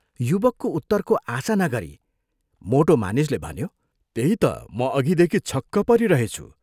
युवकको उत्तरको आशा नगरी मोटो मानिसले भन्यो, "त्यही त म अघिदेखि छक्क परिरहेछु।